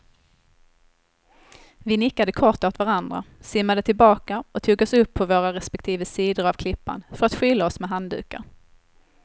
Vi nickade kort åt varandra, simmade tillbaka och tog oss upp på våra respektive sidor av klippan för att skyla oss med handdukar.